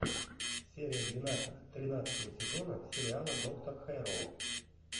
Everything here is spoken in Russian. серия двенадцать тринадцатого сезона сериала доктор хэрроу